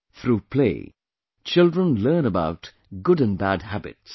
Through play, children learn about good and bad habits